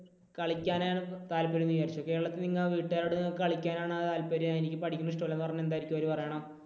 കളിക്കാനാണ് താല്പര്യം എന്ന് വിചാരിച്ചോ കേരളത്തിൽ നിങ്ങൾ വീട്ടുകാരോട് കളിക്കാൻ ആണ് താല്പര്യം എനിക്ക് പഠിക്കാൻ ഇഷ്ടമില്ല എന്ന് പറഞ്ഞാൽ എന്തായിരിക്കും അവർ പറയുന്നത്?